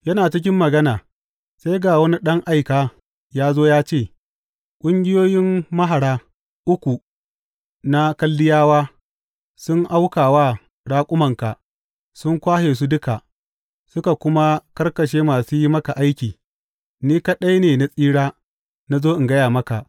Yana cikin magana sai ga wani ɗan aika ya zo ya ce, Ƙungiyoyin mahara uku na Kaldiyawa sun auka wa raƙumanka sun kwashe su duka, suka kuma karkashe masu yi maka aiki, ni kaɗai ne na tsira na zo in gaya maka!